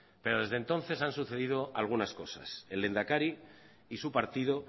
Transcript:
pero desde entonces han sucedido algunas cosas el lehendakari y su partido